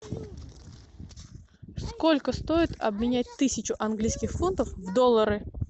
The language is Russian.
сколько стоит обменять тысячу английских фунтов в доллары